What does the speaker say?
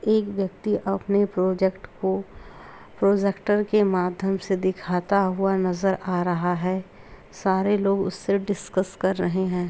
एक व्यक्ति अपने प्रोजेक्ट को प्रोजेक्टर के माध्यम से दिखाता हुआ नज़र आ रहा है | सारे लोग उससे डिस्कस कर रहे हैं ।